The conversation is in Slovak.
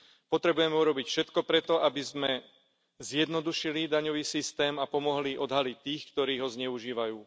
Potrebujeme urobiť všetko preto, aby sme zjednodušili daňový systém a pomohli odhaliť tých, ktorí ho zneužívajú.